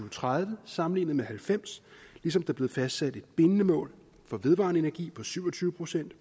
og tredive sammenlignet med nitten halvfems ligesom der blev fastsat et bindende mål for vedvarende energi på syv og tyve procent